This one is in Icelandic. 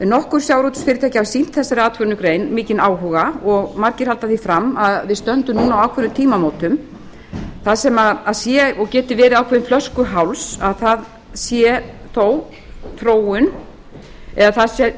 nokkur sjávarútvegsfyrirtæki hafa sýnt þessari atvinnugrein mikinn áhuga og margir halda því fram að við stöndum núna á ákveðnum tímamótum þar sem sé og geti verið ákveðinn flöskuháls að það sé þó þróun eða